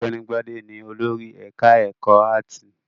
Ọ̀gbẹ́ni Gbadé ni olórí ẹ̀ka-ẹ̀kọ́ áátì.